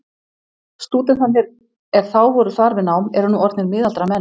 Stúdentarnir, er þá voru þar við nám, eru nú orðnir miðaldra menn.